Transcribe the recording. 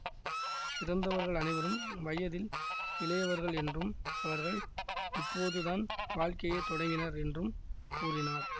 இறந்தவர்கள் அனைவரும் வயதில் இளையவர்கள் என்றும் அவர்கள் இப்போது தான் வாழ்க்கையை தொடங்கினர் என்றும் கூறினார்